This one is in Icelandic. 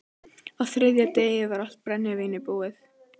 Á þriðja degi var allt brennivín búið.